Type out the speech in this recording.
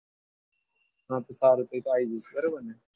હા તો તારું કીધું તો આવી જઈશ બરાબર ને?